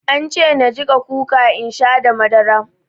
An ce na jiƙa kuka in sha da madara.